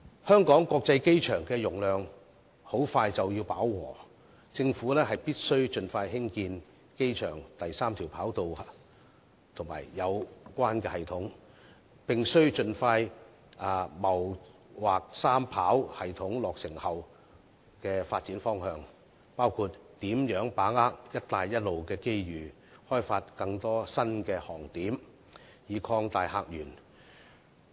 香港國際機場的容量快將飽和，政府必須盡快興建機場第三條跑道及相關系統，並盡快謀劃三跑系統落成後的發展方向，包括如何把握"一帶一路"的機遇，開發更多新航點，以擴大客源。